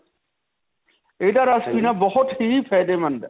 ਇਹਦਾ ਰਸ ਵੀ ਨਾ ਬਹੁਤ ਹੀ ਫ਼ਾਯਦੇਮੰਦ ਹੈ.